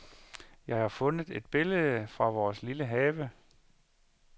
Jeg fundet et billede fra vores lille have.